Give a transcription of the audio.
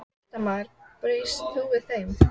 Fréttamaður: Býstu við þeim?